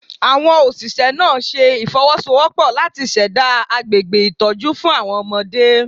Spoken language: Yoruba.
Awon Oṣiṣẹ naa ṣe ifowosowopo lati ṣẹda agbegbe itọju fun awọn ọmọde